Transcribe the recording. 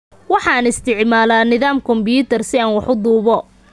Waxaan isticmaalaa nidaam kombuyuutar si aan wax u duubo.